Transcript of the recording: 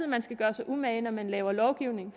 man skal gøre sig umage når man laver lovgivning